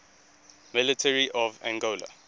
military of angola